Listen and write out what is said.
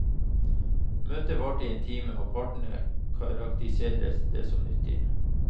Møtet varte i en time, og partene karakteriserer det som nyttig.